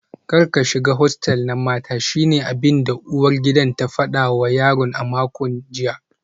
Kar ka shiga hostel na mata shine abinda uwar gidan ta fada wa yaron a makon jiya